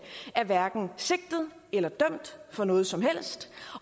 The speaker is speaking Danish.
er hverken sigtet eller dømt for noget som helst